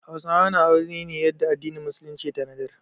Hausawa na aure ne yadda addinin musulunci ya tanadar.